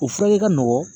O furakɛ ka nɔgɔn